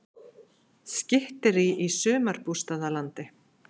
Skytterí í sumarbústaðalandi